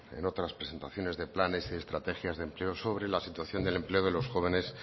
en otras presentaciones de planes y de estrategias de empleo sobre la situación del empleo de los jóvenes